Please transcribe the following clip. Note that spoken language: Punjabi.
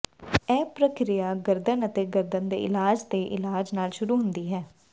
ਇਹ ਪ੍ਰਕਿਰਿਆ ਗਰਦਨ ਅਤੇ ਗਰਦਨ ਦੇ ਇਲਾਜ਼ ਦੇ ਇਲਾਜ ਨਾਲ ਸ਼ੁਰੂ ਹੁੰਦੀ ਹੈ